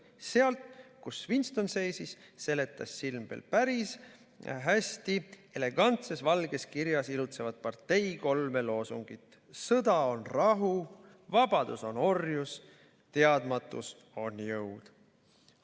Sealt, kus Winston seisis, seletas silm veel parajasti valgel seinal elegantses kirjas ilutsevat Partei kolme loosungit: SÕDA ON RAHU, VABADUS ON ORJUS, TEADMATUS ON JÕUD.